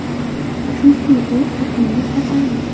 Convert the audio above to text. Chunki bu – yuqumli kasallik.